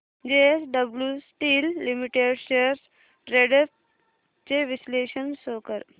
JSW steel limited shares trends चे विश्लेषण show कर